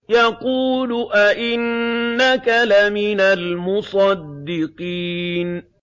يَقُولُ أَإِنَّكَ لَمِنَ الْمُصَدِّقِينَ